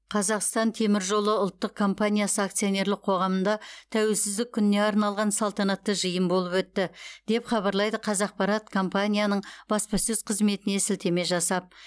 қазақстан темір жолы ұлттық компаниясы акционерлік қоғамында тәуелсіздік күніне арналған салтанатты жиын болып өтті деп хабарлайды қазақпарат компанияның баспасөз қызметіне сілтеме жасап